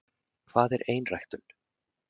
hvað er einræktun